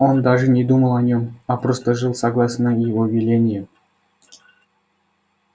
он даже не думал о нём а просто жил согласно его велениям